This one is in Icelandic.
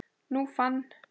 Nú fann